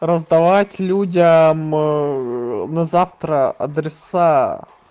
раздавать людям на завтра адреса